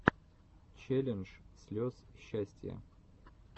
челлендж слез счастья